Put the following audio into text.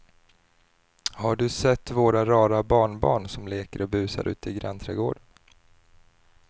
Har du sett våra rara barnbarn som leker och busar ute i grannträdgården!